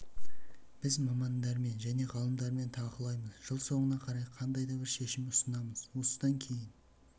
біз мамандармен және ғалымдармен талқылаймыз жыл соңына қарай қандай да бір шешім ұсынамыз осыдан кейін